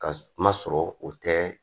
Ka kuma sɔrɔ o tɛ